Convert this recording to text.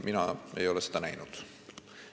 Mina ei ole seda näinud.